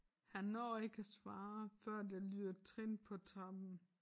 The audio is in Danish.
Han når ikke at svare før der lyder trin på trappen